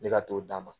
Ne ka t'o d'a ma